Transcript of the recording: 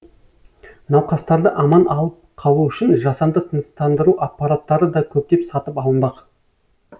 науқастарды аман алып қалу үшін жасанды тыныстандыру аппараттары да көптеп сатып алынбақ